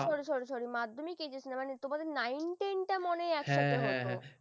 না না sorry sorry sorry মাধ্যমিক HSC মানে nine ten টামানে একসাথে হত।